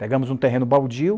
Pegamos um terreno baldio,